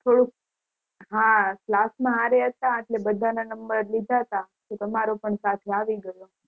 થોડુક, હા class માં હારે હતા એટલે બધા ના number લીધા તા એટલે તમારો પણ સાથે અવિ ગયો